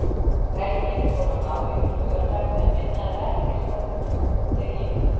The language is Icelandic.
Helgin fór að ná yfir laugardag þegar minna eða ekkert var unnið á þeim degi.